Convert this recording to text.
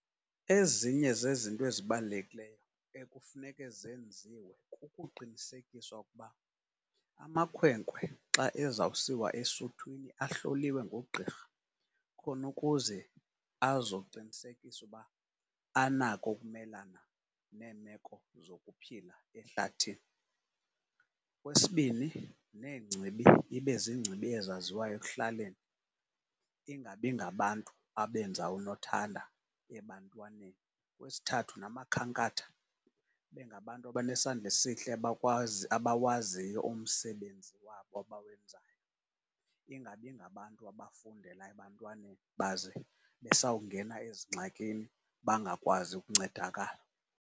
Ezinye zezinto ezibalulekileyo ekufuneke zenziwe kukuqinisekiswa ukuba amakhwenkwe xa ezawusiwa esuthwini ahloliwe ngoogqirha, khona ukuze azoqinisekisa uba anako ukumelana neemeko zokuphila ehlathini. Okwesibini, neengcibi ibe ziingcibi ezaziwayo ekuhlaleni, ingabi ngabantu abenza unothanda ebantwaneni. Okwesithathu, namakhankatha ibe ngabantu abanesandla esihle abakwazi, abawaziyo umsebenzi wabo abawenzayo, ingabi ngabantu abafundela ebantwaneni, baze besawungena ezingxakini bangakwazi ukuncedakala.